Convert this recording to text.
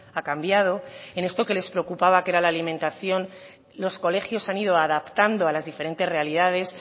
ha cambiado en esto que les preocupaba que era la alimentación los colegios se han ido adaptando a las diferentes realidades